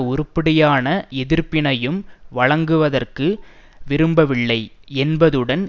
உருப்படியான எதிர்ப்பினையும் வழங்குதற்கு விருப்பமில்லை என்பதுடன்